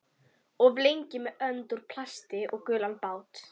Of lengi með önd úr plasti og gulan bát